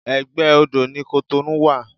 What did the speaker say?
Egbe odó ni Cotonou wa